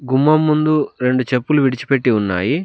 గుమ్మం ముందు రెండు చెప్పులు విడిచిపెట్టి ఉన్నాయి.